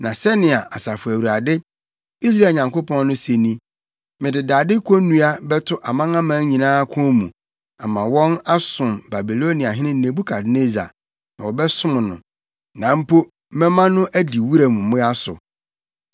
Na sɛnea Asafo Awurade, Israel Nyankopɔn no se ni: Mede dade konnua bɛto amanaman nyinaa kɔn mu, ama wɔn asom Babiloniahene Nebukadnessar, na wɔbɛsom no. Na mpo mɛma no adi wuram mmoa so.’ ”